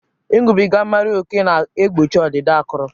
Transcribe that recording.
Ịṅụbiga mmiri ókè na-egbochi ọdịda akụrụ